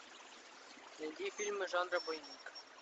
найди фильмы жанра боевик